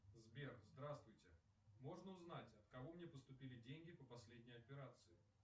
сбер здравствуйте можно узнать от кого мне поступили деньги по последней операции